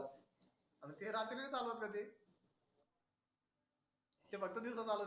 अनं ते रात्री नाही चालवत का ते? ते फक्त दिवसा चालवते.